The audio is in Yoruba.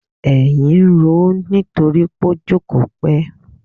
Èyìn ń roó nítorí pó jókòó pẹ́!